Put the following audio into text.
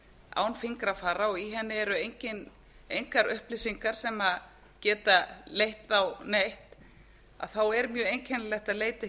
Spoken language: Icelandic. án fingrafara og í henni eru engar upplýsingar sem geta leitt þá neitt er mjög einkennilegt að leita